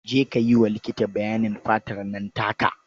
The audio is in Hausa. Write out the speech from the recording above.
Je ka yi wa likiti bayanin fatar nan taka.